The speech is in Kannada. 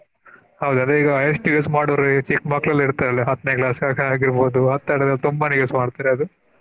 ಹೌದು ಅದೇ ಈಗಾ highest use ಮಾಡೊವ್ರೆ ಚಿಕ್ಕ ಮಕ್ಳೆಲ್ಲ ಇರ್ತಾರಲ್ಲ ಎಲ್ಲಾ ಹತ್ತನೇ class ಹಾಗೆ ಓದುವ ಹಂತವ್ರೆ ತುಂಬಾನೆ use ಮಾಡ್ತಾರೆ ಅದು.